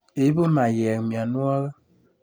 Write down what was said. Ibu meyek mianwogik.